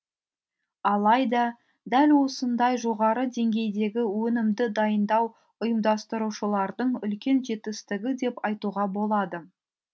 алайда дәл осындай жоғары деңгейдегі өнімді дайындау ұйымдастырушылардың үлкен жетістігі деп айтуға болады